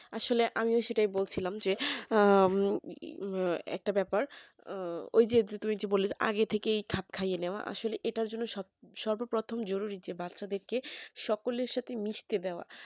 আসলে আমিও সেটাই বলছিলাম যে একটা ব্যাপার ওই যে তুমি যে বললে আগে থেকেই খাপ খাইয়ে নেওয়া আসলে এটার জন্য সব সর্বপ্রথম জরুরী যে বাচ্চা দেরকে সকলের সাথে মিশতে দেওয়া